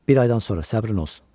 Bir aydan sonra, səbrin olsun.